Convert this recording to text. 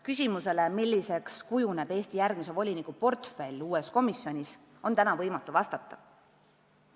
Küsimusele, milliseks kujuneb Eesti järgmise voliniku portfell uues komisjonis, on täna võimatu vastata.